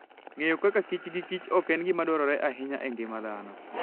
Ng'eyo kaka kich gikichok en gima dwarore ahinya e ngima dhano.